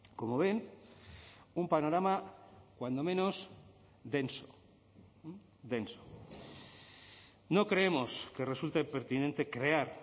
como ven un panorama cuando menos denso denso no creemos que resulte pertinente crear